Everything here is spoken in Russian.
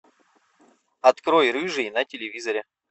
открой рыжий на телевизоре